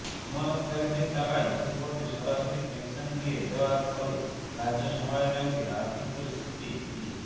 আমানতকারীদের টাকায় ঘুরপথে সরাসরি পেনশন দিয়ে দেওয়ার ফলে রাজ্য সমবায় ব্যাঙ্কের আর্থিক পরিস্থিতি কী